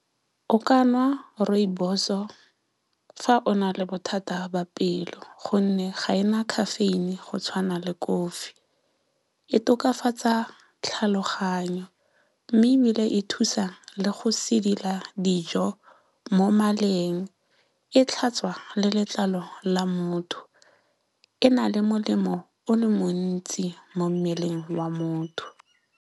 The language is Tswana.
O ka nwa rooibos-o fa o na le bothata ba pelo. Gonne ga e na caffeine go tshwana le kofi. E tokafatsa tlhaloganyo mme ebile e thusa le go sedila dijo mo maleng. E tlhatswa le letlalo la motho. E na le molemo o le montsi mo mmeleng wa motho.